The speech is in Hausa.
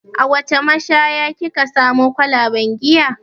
A wace mashaya ki ka samo kwalaben giya?